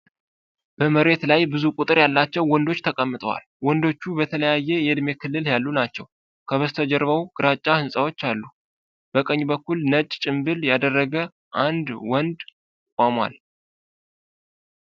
በመሬት ላይ ብዙ ቁጥር ያላቸው ወንዶች ተቀምጠዋል። ወንዶቹ በተለያየ የዕድሜ ክልል ያሉ ናቸው፣ ከበስተጀርባው ደግሞ ግራጫ ሕንፃዎች አሉ። በቀኝ በኩል፣ ነጭ ጭምብል ያደረገ አንድ ወንድ ቆሟል።